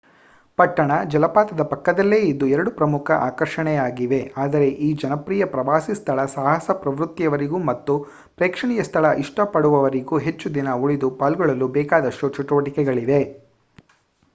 ಪಟ್ಟಣ ಜಲಪಾತದ ಪಕ್ಕದಲ್ಲೇ ಇದ್ದು ಎರಡೂ ಪ್ರಮುಖ ಆಕರ್ಷಣೆಯಾಗಿವೆ ಆದರೆ ಈ ಜನಪ್ರಿಯ ಪ್ರವಾಸಿ ಸ್ಥಳ ಸಾಹಸ ಪ್ರವೃತ್ತಿಯವರಿಗೂ ಮತ್ತು ಪ್ರೇಕ್ಷಣೀಯ ಸ್ಥಳ ಇಷ್ಟ ಪಡುವವರಿಗೂ ಹೆಚ್ಚುದಿನ ಉಳಿದು ಪಾಲ್ಗೊಳ್ಳಲು ಬೇಕಾದಷ್ಟು ಚಟುವಟಿಕೆಗಳಿವೆ